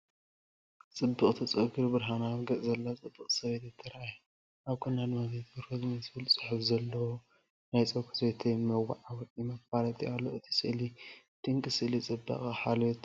ጽብቕቲ ጸጉርን ብርሃናዊ ገጽን ዘለዋ ጽብቕቲ ሰበይቲ ተራእያ። ኣብ ጎና ድማ “ዘይቲ ሮዝመሪ” ዝብል ጽሑፍ ዘለዎ ናይ ጸጉሪ ዘይቲ መወዓውዒ/መፋለጢ ኣሎ። እቲ ስእሊ ድንቂ ስእሊ ጽባቐን ሓልዮትን እዩ።